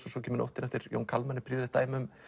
og svo kemur nóttin eftir Jón Kalman er prýðilegt dæmi um